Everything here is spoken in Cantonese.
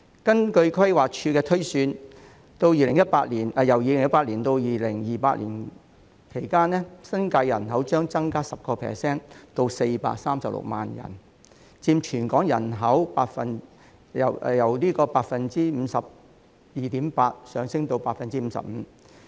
根據規劃署的推算 ，2018 年至2028年間，新界人口將增加 10% 至436萬人，佔全港人口百分比將由 52.8% 上升至 55%。